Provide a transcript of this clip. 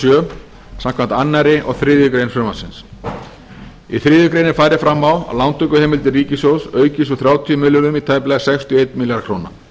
sjö samkvæmt öðrum og þriðju grein frumvarpsins í þriðju grein er farið fram á að lántökuheimildir ríkissjóðs aukist úr þrjátíu milljörðum í tæplega sextíu og einn milljarð króna